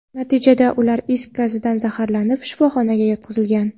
Natijada, ular is gazidan zaharlanib, shifoxonaga yotqizilgan.